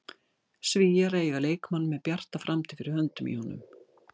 Svíar eiga leikmann með bjarta framtíð fyrir höndum í honum.